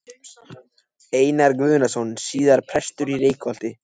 Einar Guðnason, síðar prestur í Reykholti.